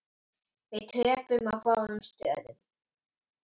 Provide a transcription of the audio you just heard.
Við töpuðum á báðum stöðum.